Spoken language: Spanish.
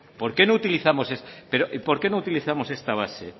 por qué no utilizamos esta base